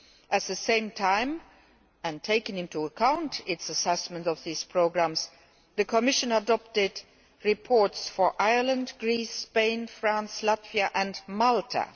At the same time, and taking into account its assessment of these programmes, the Commission adopted reports for Ireland, Greece, Spain, France, Latvia and Malta.